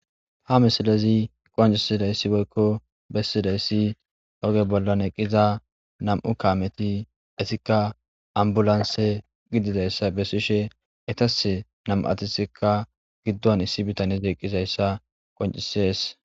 ha misilezi qoncisidayssi boykko bessidayssi oge bollan eqqiza nam7u kaameti esikka ambulanse gidizayssa besishe etase nam7atisikka giddon issi bitaneze eqqizayssa qoncisees